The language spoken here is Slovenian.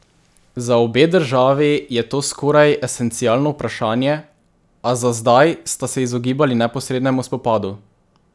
Za obe državi je to skoraj esencialno vprašanje, a za zdaj sta se izogibali neposrednemu spopadu.